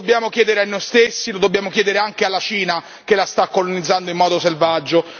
Lo dobbiamo chiedere a noi stessi, lo dobbiamo chiedere anche alla Cina, che la sta colonizzando in modo selvaggio.